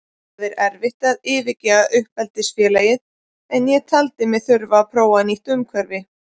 Það er erfitt að yfirgefa uppeldisfélagið en ég taldi mig þurfa að prófa nýtt umhverfi.